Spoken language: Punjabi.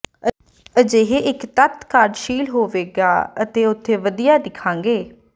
ਅਜਿਹੇ ਇੱਕ ਤੱਤ ਕਾਰਜਸ਼ੀਲ ਹੋਵੇਗਾ ਅਤੇ ਉਥੇ ਵਧੀਆ ਦਿਖਾਂਗੇ